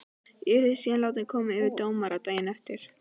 Ég yrði síðan látin koma fyrir dómara daginn eftir.